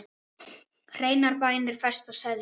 Hreinar bænir fæsta seðja.